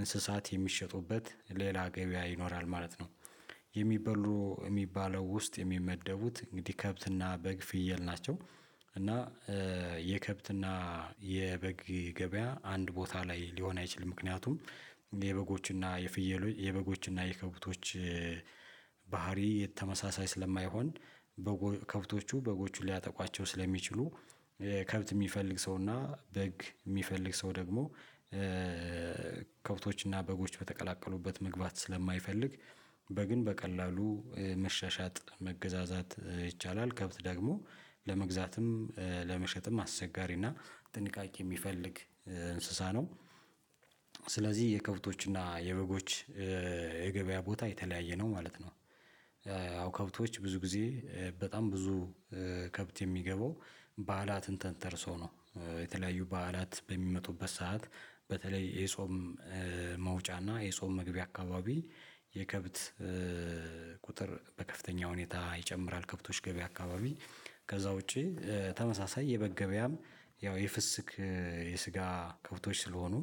እንስሳት የሚሸጡበት ሌላ ገበያ ይኖራል ማለት ነው። የሚበሉ የሚባለው ውስጥ የሚመደቡት እንግዲህ ከብትና በግ ፍየል ናቸው። እና የከብትና የበግ ገበያ አንድ ቦታ ላይ ሊሆን አይችልም ምክንያቱም የበጎችና የፍየሎች የበጎችና የከብቶች ባህሪ የተመሳሳይ ስለማይሆን። ከብቶቹ በጎቹን ሊያጠቋቸው ስለሚችሉ ከብት የሚፈልግ ሰው እና በግ የሚፈልግ ሰው ደግሞ ከብቶች እና በጎች በተቀላቀሉበት መግባት ስለማይፈልግ። በግን በቀላሉ መሻሻጥ መገዛዛት ይቻላል ከብት ደግሞ ለመግዛትም ለመሸጥም አስቸጋሪና ጥንቃቄ የሚፈልግ እንስሳ ነው። ስለዚህ የከብቶችና የበጎች የገበያ ቦታ የተለያየ ነው ማለት ነው። አዎ ከብቶች ብዙ ጊዜ በጣም ብዙ ከብት የሚገባው በዓላትን ተንተርሶ ነው። የተለያዩ በዓላት በሚመጡበት ሰዓት በተለይ የጾም መውጫና እና የጾም መግቢያ አካባቢ የከብት ቁጥር በከፍተኛ ሁኔታ ይጨምራል። ከብቶች ገበያ አካባቢ ከዛ ውጪ ተመሳሳይ የበግ ገበያም ያው የፍስክ የስጋ ከብቶች ስለሆኑ።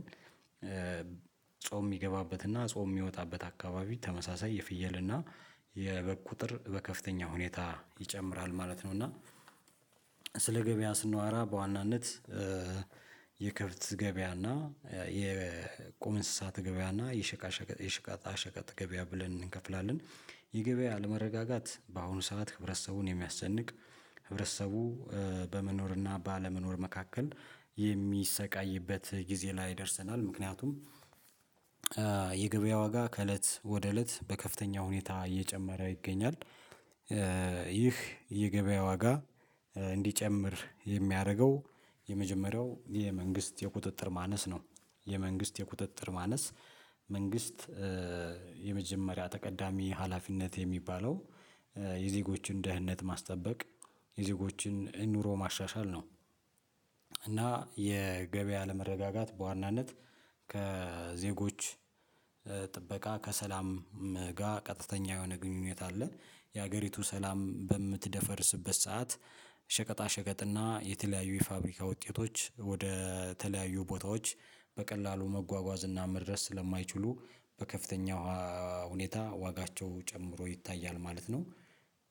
ጾም የሚገባበትና ጾም የሚወጣበት አካባቢ ተመሳሳይ የፍየልና እና የበግ ቁጥር በከፍተኛ ሁኔታ ይጨምራል ማለት ነው። እና ስለ ገበያ ስናዎራ በዋናነት የከብት ገበያ እና የቁም እንስሳት ገበያአእና የሸቃሸቀ የሸቃጣ ሸቀጥ ገበያ ብለን እንከፍላለን። የ ገበያ አለመረጋጋት በአሁኑ ሰዓት ህብረተሰቡን የሚያስጨንቅ ህብረተሰቡ በመኖርና ባለመኖር መካከል የሚሰቃይበት ጊዜ ላይ ደርሰናል። ምክንያቱም የገበያ ዋጋ ከእለት ወደ እለት በከፍተኛ ሁኔታ እየጨመረ ይገኛል። ይህ የገበያ ዋጋ እንዲጨምር የሚያደርገው የመጀመሪያው የመንግስት የቁጥጥር ማነስ ነው። የመንግስት የቁጥጥር ማነስ መንግስት የመጀመሪያ ተቀዳሚ ሀላፊነት የሚባለው የዜጎችን ደህንነት ማስጠበቅ የዜጎችን ኑሮ ማሻሻል ነው። እና የገበያ አለመረጋጋት በዋናነት ከዜጎች ጥበቃ ከሰላም ጋር ቀጥተኛ የሆነ ግንኙነት አለ። የሀገሪቱ ሰላም በምትደፈርስበት ሰዓት ሸቀጣ ሸቀጥና የተለያዩ የፋብሪካ ውጤቶች ወደ ተለያዩ ቦታዎች በቀላሉ መጓጓዝ እና መድረስ ስለማይችሉ በከፍተኛ ሁኔታ ዋጋቸው ጨምሮ ይታያል ማለት ነው።